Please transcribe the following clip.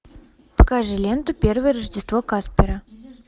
покажи ленту первое рождество каспера